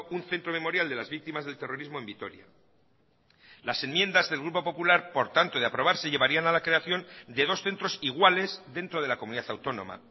un centro memorial de las víctimas del terrorismo en vitoria las enmiendas del grupo popular por tanto de aprobarse llevarían a la creación de dos centros iguales dentro de la comunidad autónoma